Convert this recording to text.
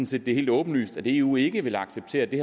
set det er helt åbenlyst at eu ikke vil acceptere at det